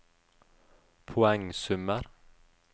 poengsummer